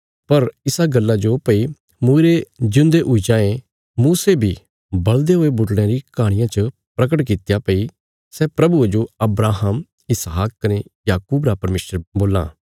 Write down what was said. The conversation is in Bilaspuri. पर इसा गल्ला जो भई मूईरे ज्यून्दे हुई जायें मूसे बी बल़दे हुये बुटड़यां री कहाणिया च प्रगट कित्या भई सै प्रभुये जो अब्राहम इसहाक कने याकूब रा परमेशर बोल्लां